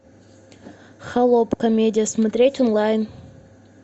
холоп комедия смотреть онлайн